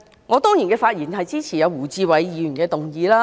我當然支持胡志偉議員的議案。